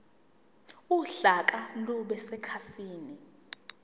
uhlaka lube sekhasini